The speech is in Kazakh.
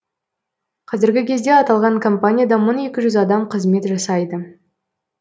қазіргі кезде аталған компанияда мың екі жүз адам қызмет жасайды